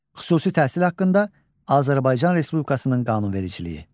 Xüsusi təhsil haqqında Azərbaycan Respublikasının qanunvericiliyi.